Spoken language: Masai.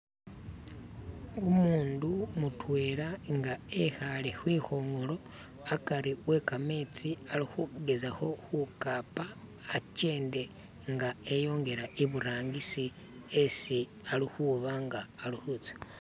umundu mutwela nga ekhale khwikhong'olo akari we kametsi alikhugezakho khukapa akyende nga eyongele iburangisi esi alikhuba nga alikhutsya